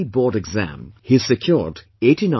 Board exam he has secured 89